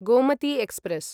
Gomti express